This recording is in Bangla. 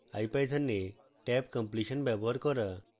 ipython এ tabcompletion ব্যবহার করা